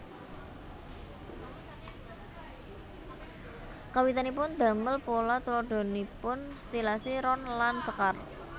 Kawitanipun damel pola tuladhanipun stilasi ron lan sekar